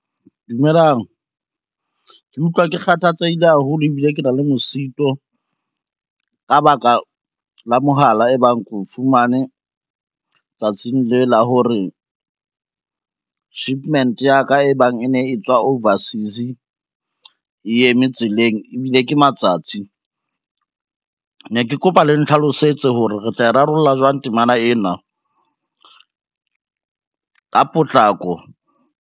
Dumelang, ke utlwa ke kgathatsehile haholo ebile ke na le mosito, ka baka la mohala e bang ke o fumane tsatsing le la hore shipments ya ka e bang e ne e tswa overseas e eme tseleng ebile ke matsatsi, ne ke kopa le ntlhalosetse hore re tla e rarollla jwang temana ena ka potlako.